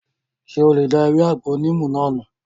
Ṣé o lè da ewé àgbo níìmù náà nù?